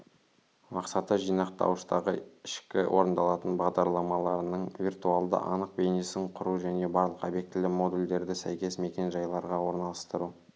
мақсаты жинақтауыштағы ішкі орындалатын бағдарламаларының виртуалды анық бейнесін құру және барлық обьектілі модульдерді сәйкес мекен-жайларға орналастыру